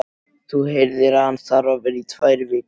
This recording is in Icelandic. Þú heyrðir að hann þarf að vera tvær vikur í